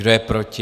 Kdo je proti?